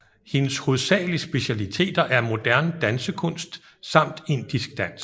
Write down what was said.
Hendes hovedsagelige specialiteter er modern dansekunst samt indisk dans